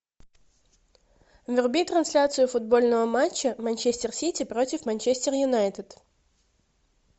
вруби трансляцию футбольного матча манчестер сити против манчестер юнайтед